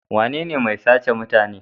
Wanene mai sace da mutane?